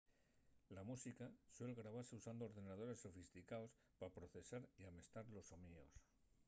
la música suel grabase usando ordenadores sofisticaos pa procesar y amestar los soníos